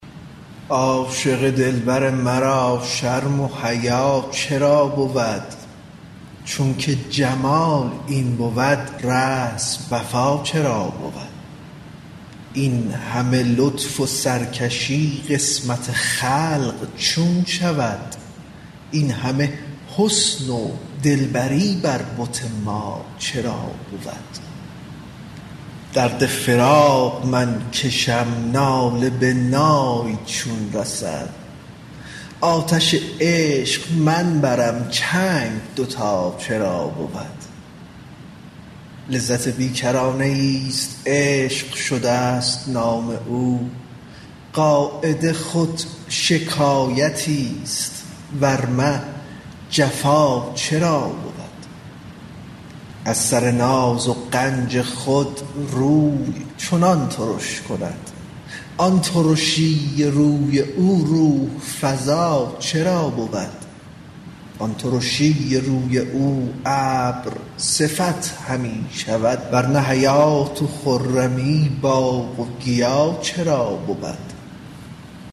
عاشق دلبر مرا شرم و حیا چرا بود چونک جمال این بود رسم وفا چرا بود این همه لطف و سرکشی قسمت خلق چون شود این همه حسن و دلبری بر بت ما چرا بود درد فراق من کشم ناله به نای چون رسد آتش عشق من برم چنگ دوتا چرا بود لذت بی کرانه ایست عشق شدست نام او قاعده خود شکایتست ور نه جفا چرا بود از سر ناز و غنج خود روی چنان ترش کند آن ترشی روی او روح فزا چرا بود آن ترشی روی او ابرصفت همی شود ور نه حیات و خرمی باغ و گیا چرا بود